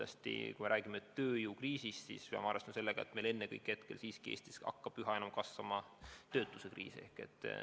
Aga kui me räägime tööjõukriisist, siis peame ennekõike arvestama sellega, et Eestis siiski üha enam töötus kasvab.